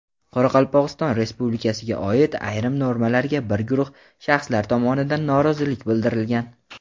Qoraqalpogʼiston Respublikasiga oid ayrim normalarga bir guruh shaxslar tomonidan norozilik bildirilgan.